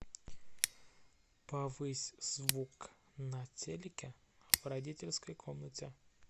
повысь звук на телике в родительской комнате